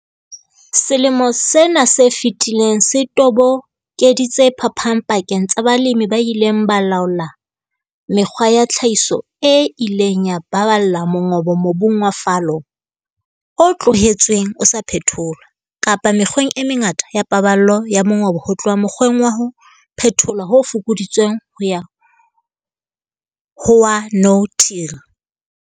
Selemo sena se fetileng se tobokeditse phapang pakeng tsa balemi ba ileng ba laola mekgwa ya tlhahiso e ileng ya baballa mongobo mobung wa fallow, o tlohetsweng o sa phetholwa, kapa mekgweng e mengata ya paballo ya mongobo ho tloha mokgweng wa ho phetholwa ho fokoditsweng ho ya ho wa no-till.